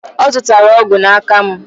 Ọ zụtara ọgwụ n'aka mụ.